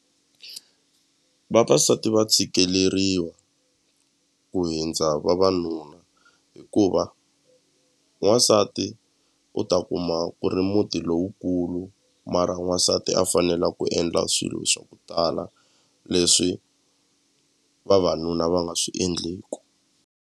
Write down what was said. Vavasati va tshikeleriwa ku hindza vavanuna hikuva n'wansati u ta kuma ku ri muti lowukulu mara n'wansati a fanela ku endla swilo swa ku tala leswi vavanuna va nga swi endleku.